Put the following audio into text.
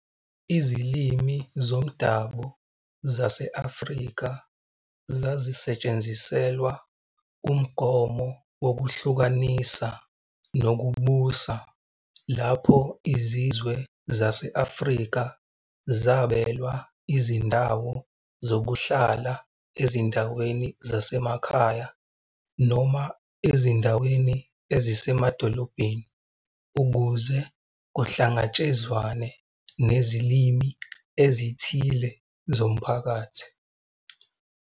Izilimi zomdabu zase-Afrika zazisetshenziselwa umgomo wokuhlukanisa nokubusa lapho izizwe zase-Afrika zabelwa izindawo zokuhlala ezindaweni zasemakhaya noma ezindaweni ezisemadolobheni ukuze kuhlangatshezwane nezilimi ezithile zomphakathi.